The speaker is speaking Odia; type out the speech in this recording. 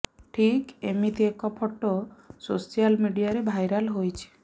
ଠିକ୍ ଏମିତି ଏକ ଫଟୋ ସୋସିଆଲ ମିଡିଆରେ ଭାଇରାଲ ହୋଇଛି